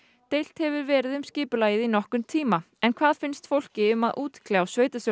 deilt hefur verið um skipulagið í þónokkurn tíma en hvað finnst fólki um að útkljá